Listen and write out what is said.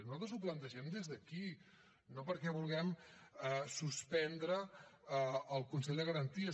i nosaltres ho plantegem des d’aquí no perquè vulguem suspendre el consell de garanties